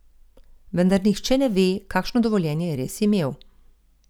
Vendar nihče ne ve, kakšno dovoljenje je res imel.